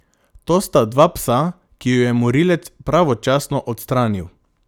To sta dva psa, ki ju je morilec pravočasno odstranil.